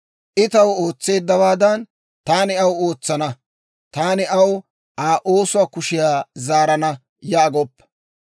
«I taw ootseeddawaadan, taani aw ootsana; taani aw Aa oosuwaa kushiyaa zaarana» yaagoppa.